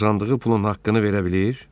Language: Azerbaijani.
"Qazandığı pulun haqqını verə bilir?"